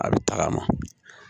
A bɛ tagama